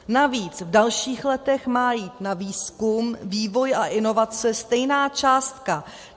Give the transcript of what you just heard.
Navíc v dalších letech má jít na výzkum, vývoj a inovace stejná částka.